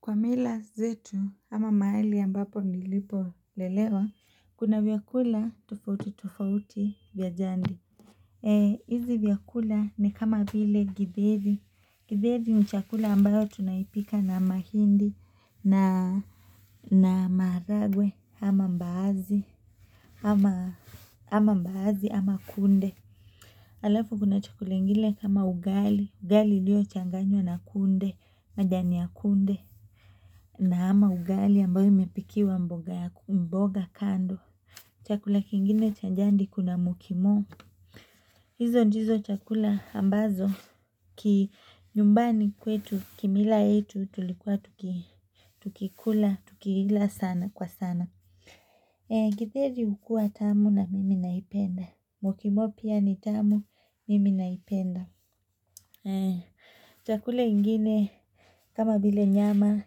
Kwa mila zetu ama mahali ambapo nilipo lelewa kuna vyakula tofauti tofauti vya jandi. Ee hizi vyakula ni kama vile gidheri, gidheri ni chakula ambayo tunaipika na mahindi na na maharagwe ama mbaazi ama ama mbaazi ama kunde alafu kuna chakula ingine kama ugali, ugali iliochanganywa na kunde, majani ya kunde na ama ugali ambayo imepikiwa mboga kando Chakula kingine cha njandi kuna mukimo hizo ndizo chakula ambazo ki nyumbani kwetu kimila yetu tulikuwa tuki tukikula, tukiila sana kwa sana Githeri hukua tamu na mimi naipenda. Mukimo pia ni tamu mimi naipenda Chakula ingine kama vile nyama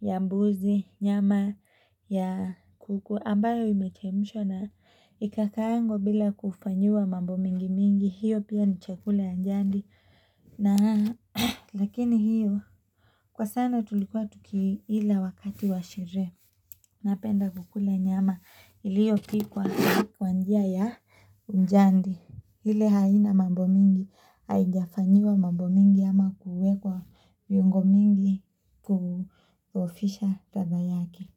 ya mbuzi, nyama ya kuku ambayo imechemshwa na ikakaangwa bila kufanyiwa mambo mingi mingi, hiyo pia ni chakula ya njandi lakini hiyo kwa sana tulikuwa tukiila wakati wa sherehe, napenda kukule nyama, iliyopikwa kwa njia ya njandi, ile haina mambo mingi, haijafanyiwa mambo mingi ama kuwekwa viungo mingi ku ofisha ladha yake.